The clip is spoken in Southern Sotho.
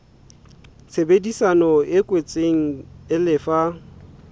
tshebedisano e kwetsweng e lefa